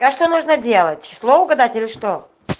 а что нужно делать число угадать или что